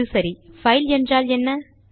அது சரி பைல் என்றால் என்ன